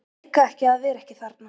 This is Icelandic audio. Meika ekki að vera ekki þarna.